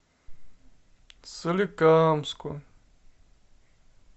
соликамску